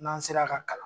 N'an sera ka kalan